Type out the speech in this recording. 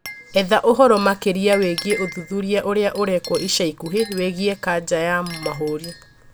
Etha ũhoro makĩria wĩgiĩ ũthuthuria ũrĩa ũrekwo ica ikuhĩ wĩgiĩ kanja ya mahũri.